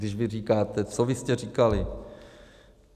Když vy říkáte, co vy jste říkali.